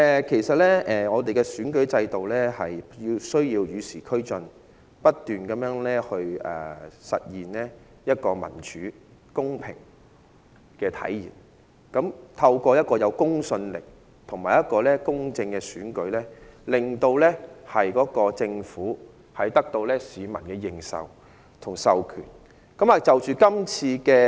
其實，我們的選舉制度需要與時俱進，不斷實現一個民主、公平的體制，透過一個有公信力及公正的選舉，令政府得到市民的認受及授權。